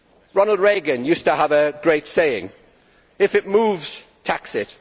Ronald Reagan used to have a great saying If it moves, tax it